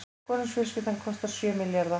Konungsfjölskyldan kostar sjö milljarða